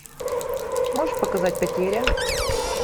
можешь показать потеря